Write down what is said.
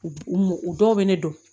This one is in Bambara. U u m u dɔw bɛ ne dɔn